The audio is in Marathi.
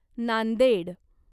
नांदेड